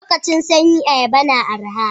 Lokacin sanyi ayaba na araha.